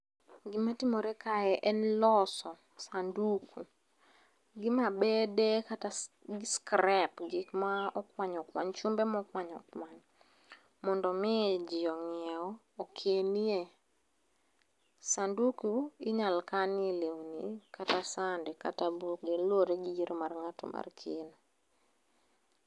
Gima timore kae en loso sanduku, gi mabede kata scrap, gik ma okwany okwany, chumbe mokwany owany, mondo omi ji onyiew, okenie. Sanduku inyalo kanie lewni, kata sande, kata buge. Luwore gi yiero mar ngáto mar keno.